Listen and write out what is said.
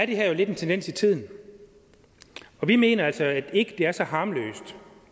det her jo lidt en tendens i tiden og vi mener altså ikke at det er så harmløst